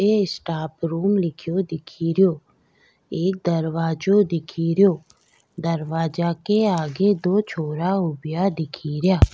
ये staff room लिखयो दिखेरो एक दरवाजा दिखेरो दरवाजा के आगे दो छोरा उब्या दिखे रिया।